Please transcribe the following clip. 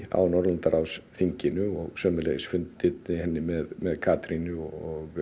á Norðurlandaráðsþinginu og sömuleiðis fundirnir með með Katrínu og